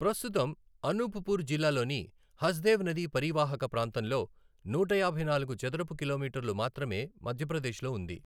ప్రస్తుతం, అనూప్ పూర్ జిల్లాలోని హస్దేవ్ నది పరీవాహక ప్రాంతంలో నూట యాభై నాలుగు చదరపు కిలోమీటర్లు మాత్రమే మధ్యప్రదేశ్లో ఉంది.